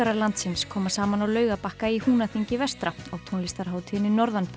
landsins koma saman á Laugarbakka í Húnaþingi vestra á tónlistarhátíðinni